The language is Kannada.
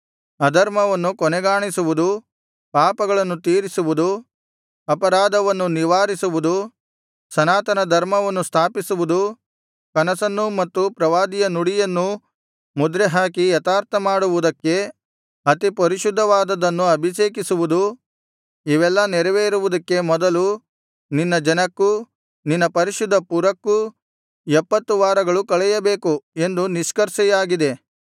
ಅಧರ್ಮವನ್ನು ಕೊನೆಗಾಣಿಸುವುದು ಪಾಪಗಳನ್ನು ತೀರಿಸುವುದು ಅಪರಾಧವನ್ನು ನಿವಾರಿಸುವುದು ಸನಾತನ ಧರ್ಮವನ್ನು ಸ್ಥಾಪಿಸುವುದು ಕನಸನ್ನೂ ಮತ್ತು ಪ್ರವಾದಿಯ ನುಡಿಯನ್ನೂ ಮುದ್ರೆಹಾಕಿ ಯಥಾರ್ಥಮಾಡುವುದಕ್ಕೆ ಅತಿಪರಿಶುದ್ಧವಾದದ್ದನ್ನು ಅಭಿಷೇಕಿಸುವುದು ಇವೆಲ್ಲಾ ನೆರವೇರುವುದಕ್ಕೆ ಮೊದಲು ನಿನ್ನ ಜನಕ್ಕೂ ನಿನ್ನ ಪರಿಶುದ್ಧ ಪುರಕ್ಕೂ ಎಪ್ಪತ್ತು ವಾರಗಳು ಕಳೆಯಬೇಕು ಎಂದು ನಿಷ್ಕರ್ಷೆಯಾಗಿದೆ